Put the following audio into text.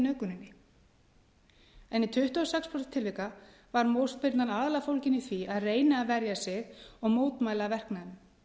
nauðguninni en í tuttugu og sex prósent tilvika var mótspyrnan aðallega fólgin í því að reyna að verja sig og mótmæla verknaðinum